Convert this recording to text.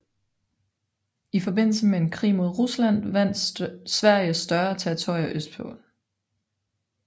I forbindelse med en krig mod Rusland vandt Sverige større territorier østpå